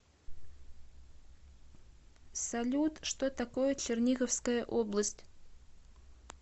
салют что такое черниговская область